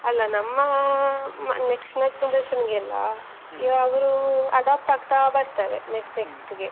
ಅಲ್ಲ ನಮ್ಮ next generation ಗೆಲ್ಲ, ಯಾವಾಗ್ಲೂ adopt ಆಗ್ತಾ ಬರ್ತಾರೆ, next next ಗೆ.